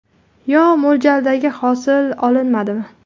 Yo mo‘ljaldagi hosil olinmadimi?